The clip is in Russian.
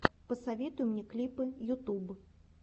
посоветуй мне клипы ютуб